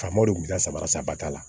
Faamaw de tun bɛ taa saba ba t'a la